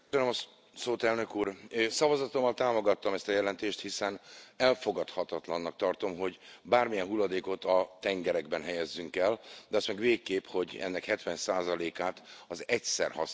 Szavazatommal támogattam ezt a jelentést, hiszen elfogadhatatlannak tartom, hogy bármilyen hulladékot a tengerekben helyezzünk el, de azt meg végképp, hogy ennek 70 át az egyszer használatos műanyagok tegyék ki.